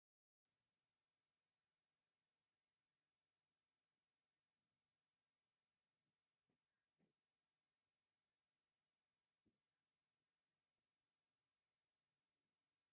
መርዓዊን መርዓትን ብሓደ ይርአዩ ኣለዉ፡፡ እዛ መርዓት ብናይ ሞስሊም ስርዓት ዝተጐልበበት እያ፡፡ ኣብ ገለ ግን መርዓት ኣፍ ልባ ከፊታ ንርኢ ኢና፡፡ እዚ ደስ ይብል ዶ?